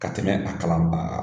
Ka tɛmɛ a kalanbaa